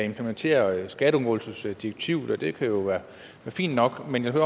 implementere skatteundgåelsesdirektivet og det kan jo være fint nok men jeg vil